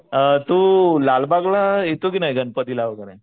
अ तू लालबागला येतो की नाही गणपतीला वगैरे